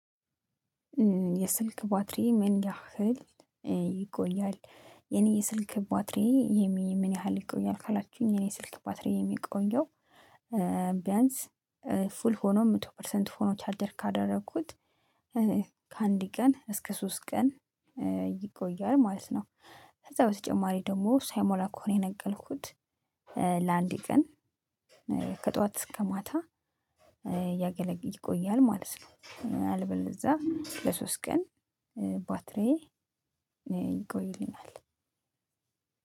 የስልክ ባትሪ ምን ያህል ይቆያል? የኔ የስልክ ባትሪ የኔ ምን ያህል ይቆያል ካላችሁኝ የኔ ስልክ ባትሪ የሚቆየው ቢያንስ ፉል ሆኖ መቶ ፐርሰንት ሆኖ ቻደር ካደረኩት ከአንድ ቀን እስከ ሶስት ቀን ይቆያል ማለት ነው። ከዛ በተጨማሪ ደግሞ ሳይሞላ ከሆነ የነቀልኩት ለአንዴ ቀን ከጧት እስከ ማታ ያገለግል ይቆያል ማለት ነው። አልበል እዛ ለሶስት ቀን ባትሪዬ ይቆይልናል።